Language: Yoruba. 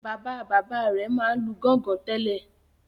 Bàbá-bàbá rẹ̀ máa ń lu gọ́ngọn tẹ́lẹ̀.